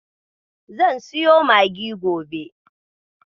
Zan siyo maggi gobe.